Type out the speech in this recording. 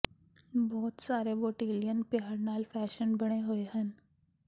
ਬਹੁਤ ਸਾਰੇ ਬੋਟਿਲਿਅਨ ਪਿਆਰ ਨਾਲ ਫੈਸ਼ਨ ਬਣੇ ਹੋਏ ਸਨ